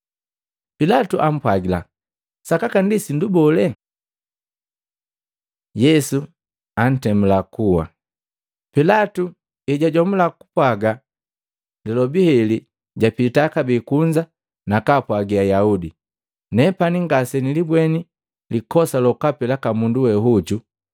Pilatu ampwagila, “Sakaka ndi sindu bole?” Yesu antemula kuwa Matei 27:15-31; Maluko 15:6-20; Luka 23:13-25 Pilatu ejajomula kupwaaga lilobi heli, japita kabee kunza nakaapwagi Ayaudi. “Nepani ngasenilibweni likosa lokapi laka mundu we hojo.